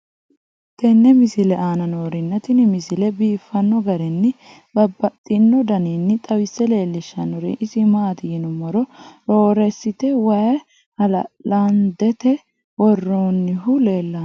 tenne misile aana noorina tini misile biiffanno garinni babaxxinno daniinni xawisse leelishanori isi maati yinummoro roresiti wayi haalaandette worroonnihu leelanno.